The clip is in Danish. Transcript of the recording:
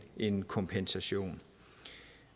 en kompensation